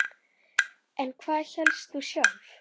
En hvað hélst þú sjálf?